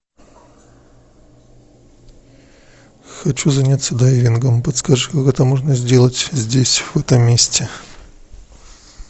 хочу заняться дайвингом подскажи как это можно сделать здесь в этом месте